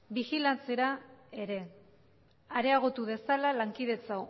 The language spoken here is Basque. bijilatzera ere areagotu dezala lankidetza